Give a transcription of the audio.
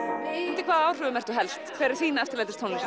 undir hvaða áhrifum ertu helst hver er þín